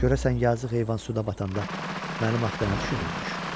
Görəsən yazığ heyvan suda batanda mənim axı nə düşünürmüş?